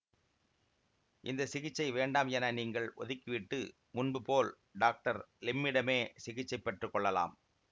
இந்த சிகிச்சை வேண்டாம் என நீங்கள் ஒதுக்கிவிட்டு முன்பு போல் டாக்டர் லிம்மிடமே சிகிச்சை பெற்று கொள்ளலாம்